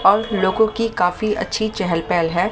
और लोगों की काफी अच्छी चहल पहल है।